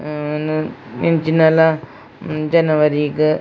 ಹ್ಮ್ ಉಮ್ ಎಂಚಿನಲ ಜನವರಿ .